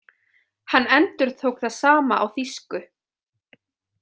Hann endurtók það sama á þýsku.